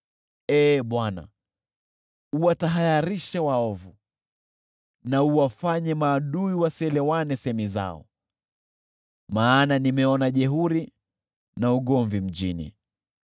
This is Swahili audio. Ee Bwana , uwatahayarishe waovu na uwachanganyishie semi zao, maana nimeona jeuri na ugomvi mjini.